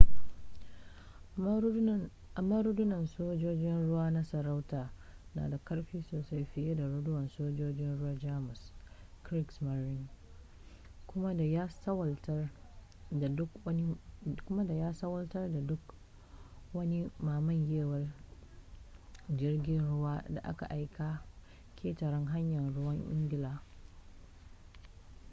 amma rundunar sojojin ruwa na sarauta na da ƙarfi sosai fiye da rundunar sojojin ruwan jamus kriegsmarine” kuma da ya salwantar da duk wani mamayewar jirgin ruwan da aka aika ƙetaren hanyar ruwan ingila